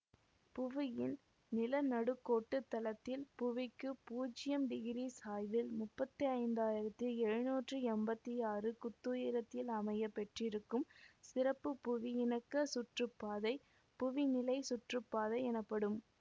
புவியின் நிலநடுக்கோட்டுத் தளத்தில் புவிக்கு பூஜ்யம் டிகிரி சாய்வில் முப்பத்தி ஐந்தாயிரத்தி எழுநூற்றி எம்பத்தி ஆறு குத்துயரத்தில் அமைய பெற்றிருக்கும் சிறப்பு புவியிணக்கச் சுற்றுப்பாதை புவிநிலைச் சுற்றுப்பாதை எனப்படும்